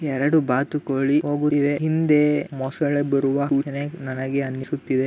ಎರೆಡು ಬಾತುಕೋಳಿ ಹೋಗುತ್ತಿವೆ ಹಿಂದೆ ಮೊಸಳೆ ಬರುವ ಸೂಚನೆ ನನಗೆ ಅನ್ನಿಸುತ್ತಿದೆ .